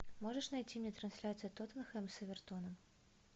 можешь найти мне трансляцию тоттенхэм с эвертоном